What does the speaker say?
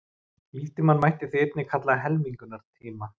Líftímann mætti því einnig kalla helmingunartíma.